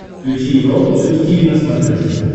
включи европа плюс тиви на смотрешке